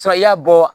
i y'a bɔ